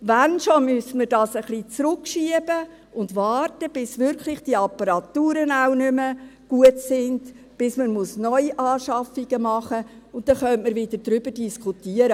Wenn schon müsste man das ein wenig zurückschieben und warten, bis diese Apparaturen wirklich auch nicht mehr gut sind, bis man Neuanschaffungen machen muss, und dann könnte man wieder darüber diskutieren.